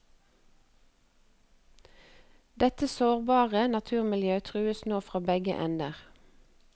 Dette sårbare naturmiljøet trues nå fra begge ender.